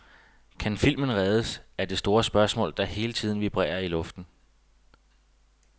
Kan filmen reddes, er det store spørgsmål, der hele tiden vibrerer i luften.